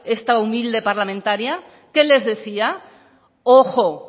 esta humilde parlamentaria qué les decía ojo